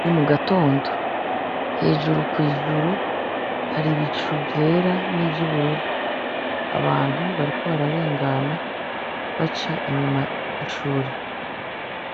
Ni mugatondo, hejuru kw’Ijuru , hari ibicu vyera n’ivyubururu, abantu bariko bararengana, baca inyuma y’ishuri.